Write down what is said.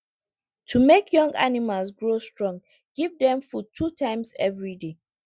to make young animals grow strong give dem food two times every day